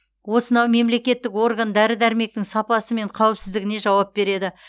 осынау мемлекеттік орган дәрі дәрмектің сапасы мен қауіпсіздігіне жауап береді